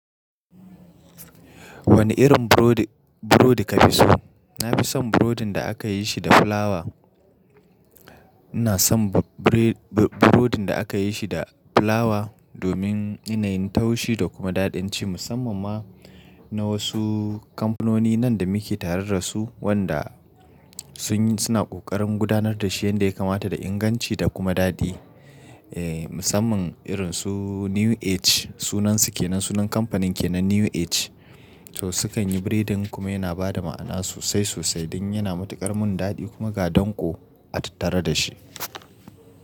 Wani irin burodi, burodi ka fi so? Na fi son burodin da aka yi shi da fulawa. Ina son burodi da aka yi shi da fulawa domin yanayin taushi da kuma daɗin ci musamman ma na wasu kamfanoni nan da muke tare da su wanda sun yi suna ƙoƙarin gudanar da shi yanda ya kamata da inganci da kuma daɗi. Eh, musamman irin su New Age sunansu ke nan sunan kamfanin ke nan New Age. To sukan yi biredin kuma yana bada ma'ana sosai sosai dan yana matuƙar mun daɗi kuma ga danƙo a tattara da shi.